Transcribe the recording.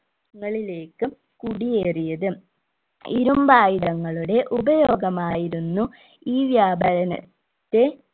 ങ്ങളിലേക് കുടിയേറിയത് ഇരുമ്പായുധങ്ങളുടെ ഉപയോഗമായിരുന്നു ഈ വ്യാപാരണ ത്തെ